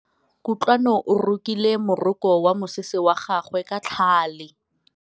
Kutlwanô o rokile morokô wa mosese wa gagwe ka tlhale.